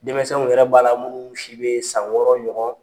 Dɛmɛsɛnw yɛrɛ b'a la munnu si bɛ san wɔɔrɔ ɲɔgɔn.